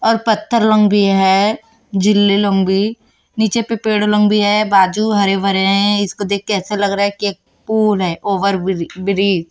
और पत्थर लंबी है झिल्ली लंबी नीचे पे पेड़ लंबी है बाजू हरे भरे हैं इसको देख ऐसे लग रहा है कि एक पूल है ओवर बिरी ब्रिज ।